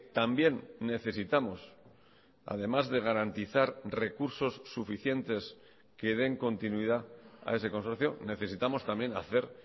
también necesitamos además de garantizar recursos suficientes que den continuidad a ese consorcio necesitamos también hacer